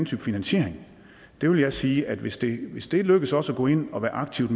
type finansiering jeg vil sige at hvis det hvis det lykkes os at gå ind og aktivt